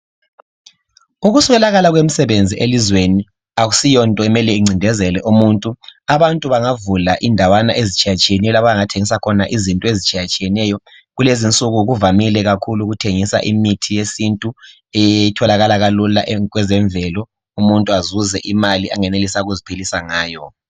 Ukuswelakala kwemisebenzi elizweni akusiyo nto okumele incindezele abantu bengavula indawanyana ezitshiyeneyo abangathengisa khona kulezinsuku kuvamile kakhulu ukuthengisa imithi yesintu etholakala lula kwezemvelo umuntu azuze imali angenelisa ukuziphilisa ngayo